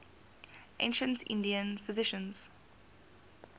ancient indian physicians